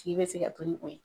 A tigi bɛ se ka to ni o ye.